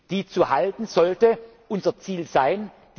Die zu halten, sollte unser Ziel sein.